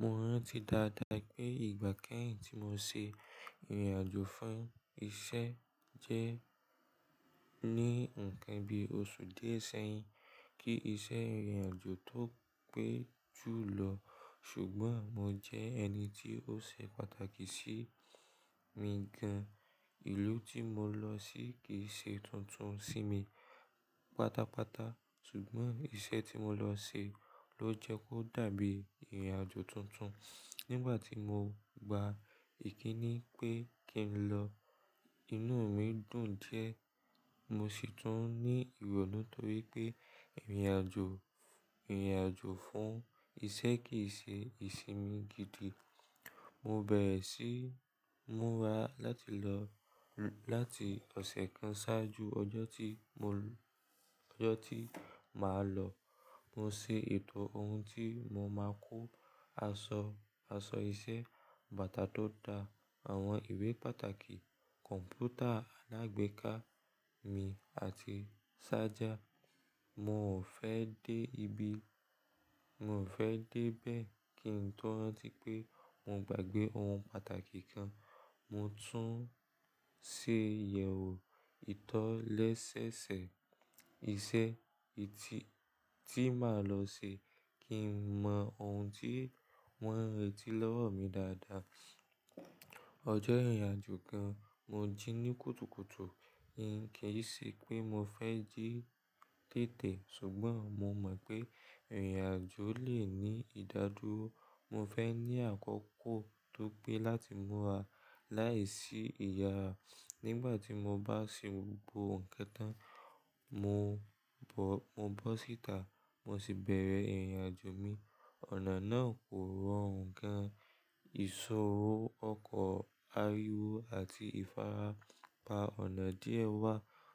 Mo rántí dáadáa pé ìgbà kẹ́hìn tí mo ṣe ìrìnàjò fún ìṣe jẹ́ ní ǹkan bí oṣù díẹ̀ sẹ́yìn. Kí ìṣe ìrìnàjò tó pé ju lọ ṣùgbọ́n mo jẹ́ ẹni tí ó ṣe pàtàkì sí mi gan. Ìlú tí mo lọ sí kìí ṣe tuntun sí mi pátápátá ṣùgbọ́n iṣẹ́ tí mo lọ ṣe ló jẹ́ kó dàbí ìrìnàjò tuntun. Nígbà tí mo gba ìkíní pé kí n lọ, inú mi dùn diẹ. Mo sì tún ní ìrònú torí pé ìrìnàjò, ìrìnàjò fún ìṣe kì í ṣe ìsinmi gidi. Mo bẹ̀rẹ̀ sí múra láti lọ láti ọ̀sẹ̀ kan ṣáájú ọjọ́ tí mo, ọjọ́ tí màá lọ. Mo ṣe ètò ohun tí mo máa kó, aṣọ, aṣọ iṣẹ́, bàtà tó da, àwọn ìwé pàtàkì, kọ̀m̀pútà alágbèéká mi àti ṣájà. Mo ò fẹ́ dé ibi, mo ò fẹ́ dé bẹ́ẹ̀ kí n tó rántí pé mo gbàgbé ohun pàtàkì kan. Mo tún ṣe ìyẹ̀wò ìtọ́ lẹ́sẹẹsẹ iṣẹ́ tí, tí màá lọ ṣe kí n mọ ohun tí wọ́n ń retí lọ́wọ́ mi dáadáa. Ọjọ́ ìrìnàjò kan mo jí ní kùtùkùtù. Kì í ṣe pé mo fẹ́ jí tètè ṣùgbọ́n mo mọ̀ pé ìrìnàjò lè ní ìdádúró. Mo fẹ́ ní àkókò tó pé láti múra láìsí ìyàrá. Nígbà tí mo bá ṣe gbogbo ǹkan tán, mo bọ̀, mo bọ́ síta mo sì bẹ̀rẹ̀ ìrìnàjò mi. Ọ̀nà náà kò rọrùn gán. Ìṣòro, ọkọ̀, ariwo àti ìfarapa ọ̀nà díẹ̀ wà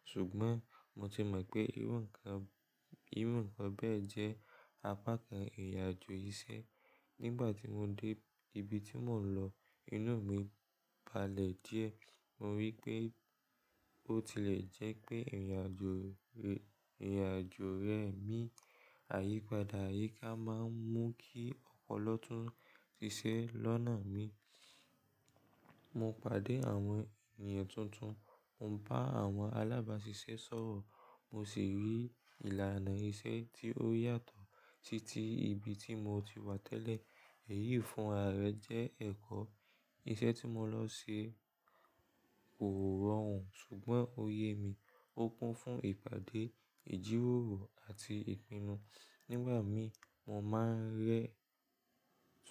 ṣùgbọ́n mo ti mọ̀ pé irú ǹkan, irú ǹkan bẹ́ẹ̀ jẹ́ apá kan ìrìnàjò iṣẹ́. Nígbà tí mo dé ibi tí mò ń lọ, inú mi balẹ̀ díẹ̀. Mo rí pé ó ti le jẹ́ pé ìrìnàjò, ìrìnàjò rẹ mi àyípadà àyíká máa ń mú kí ọpọlọ tún ṣiṣẹ́ lọ́nà mi. Mo pàdé àwọn ènìyàn tuntun, mo ń bá àwọn alábàáṣiṣẹ́ sọ̀rọ̀, mo sì rí ìlànà iṣẹ́ tí ó yàtọ̀ títí ibi tí mo ti wá tẹ́lẹ̀. Èyí fún ara rẹ jẹ́ ẹ̀kọ́. Iṣẹ́ tí mo lọ ṣe kò rọrùn ṣùgbọ́n ó yẹ mi. Ó kún fún ìpàdé, ìjíròrò àti ìpinnu. Nígbà mí mo máa ń rẹ́,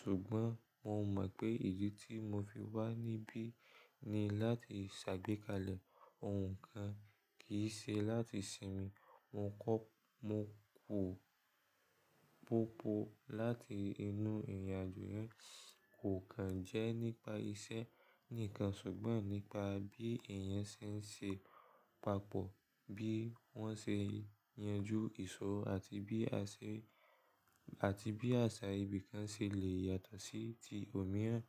ṣùgbọ́n mo mọ̀ pé ìdí tí mo fi wá níbí ni láti ṣàgbékalẹ̀ ohun kan, kì í ṣe láti sinmi. Mo kọ́, mo pò popo láti inú ìrìnàjò yẹn kò kan jẹ́ nípa iṣẹ́ nìkan ṣùgbọ́n nípa bí èèyàn ṣe ń ṣe papọ̀, bí wọ́n ṣe ń yanju ìṣòro àti bí àṣẹ n, àti bí àṣà ibìkan ṣe lè yàtọ̀ sí ti òmíràn.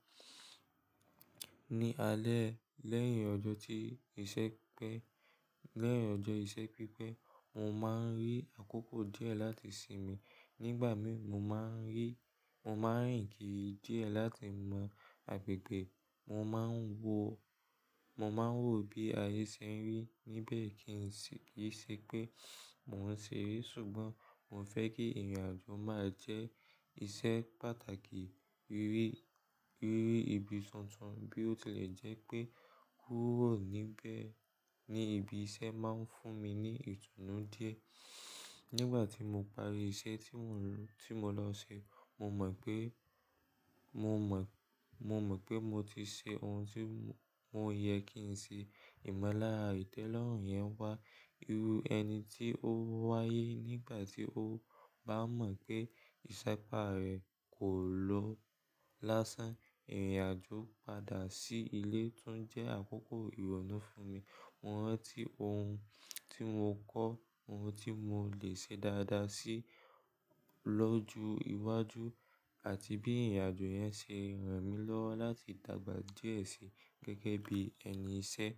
Ni alẹ́ lẹ́yìn ọjọ́ tí iṣẹ́ pẹ́, lẹ́yìn ọjọ́ iṣẹ́ pípẹ́, mo máa ń rí àkókò díẹ̀ láti sinmi. Nígbà mí mo máa ń rí, mo máa ń rìn kiri díẹ̀ láti mọ agbègbè. Mo máa ń wò, mo máa ń wò bí ayé ṣe ń rí níbẹ̀ kí n sì, kì í ṣe pé mo ń ṣeré ṣùgbọ́n mo fẹ́ kí ìrìnàjò máa jẹ́ iṣẹ́ pàtàkì. Rírí ibi tuntun bí ó ti lè jẹ́ pé kúrò níbẹ̀ ní ibi iṣẹ́ máa ń fún mi ní ìtùnú díẹ̀. Nígbà tí mo parí iṣẹ́ tí mò ń, tí mo lọ ṣe, mo mọ̀ pé, mo mọ̀, mo mọ̀ pé mo ti ṣe ohun tí mo yẹ kí n ṣe. Ìmọ́lára ìtẹ́lọ́rùn yẹn wá, irú ẹni tí ó wáyé nígbà tí ó bá mọ̀ pé ìṣẹ́ pà rẹ kò lọ lásán. Ìrìnàjò padà sí ilé tún jẹ́ àkókò ìrònú fún mi. Mo rántí ohun tí mo kọ́, ohun tí mo lè ṣe dáadáa sí lóju ìwájú àti bí ìrìnàjò yẹn ṣe ràn mí lọ́wọ́ láti dàgbà díẹ̀ sí gẹ́gẹ́ bí ẹni iṣẹ́.